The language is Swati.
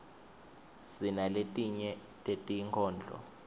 sinaletinye tetinkhondlo